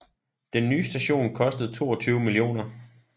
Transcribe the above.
Den nye station kostede 22 mio